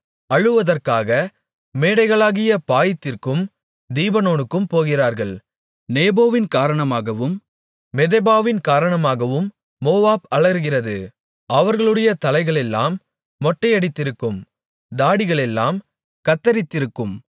அழுவதற்காக மேடைகளாகிய பாயித்திற்கும் தீபோனுக்கும் போகிறார்கள் நேபோவின் காரணமாகவும் மெதெபாவின் காரணமாகவும் மோவாப் அலறுகிறது அவர்களுடைய தலைகளெல்லாம் மொட்டையடித்திருக்கும் தாடிகளெல்லாம் கத்தரித்திருக்கும்